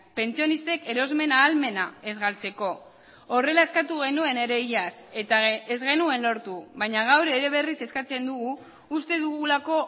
pentsionistek erosmen ahalmena ez galtzeko horrela eskatu genuen ere iaz eta ez genuen lortu baina gaur ere berriz eskatzen dugu uste dugulako